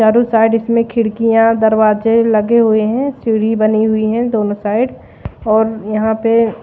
चारो साइड इसमें खिड़कियां दरवाजे लगे हुए हैं सीढ़ी बनी हुई है दोनों साइड और यहां पे--